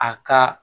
A ka